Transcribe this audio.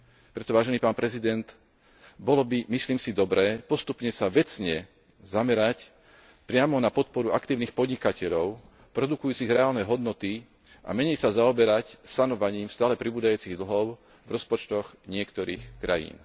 Preto, vážený pán prezident, bolo by, myslím si, dobré postupne sa vecne zamerať priamo na podporu aktívnych podnikateľov produkujúcich reálne hodnoty a menej sa zaoberať sanovaním stále pribúdajúcich dlhov v rozpočtoch niektorých krajín.